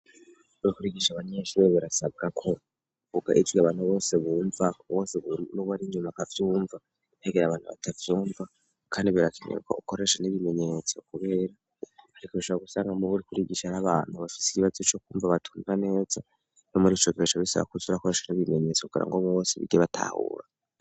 Rikurigisha abanyenshi be birasaga ko buga ijwi abantu bose bumva bose n'ubo ari nyumaka vyumva ntegera abantu batazyumva, kandi birakeniweko ukoresha n'ibimenyetso kuberarika gushaba gusanga mu buri kurigisha n'abantu bafise igibazo co kwumva batunga neza no muri icotresha bisaba kuzurakoresha n'ibimenyetso kugera ngo mwu bose bigebaa ahulaa.